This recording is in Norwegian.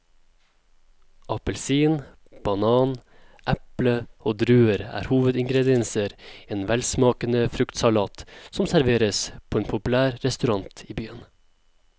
Appelsin, banan, eple og druer er hovedingredienser i en velsmakende fruktsalat som serveres på en populær restaurant i byen.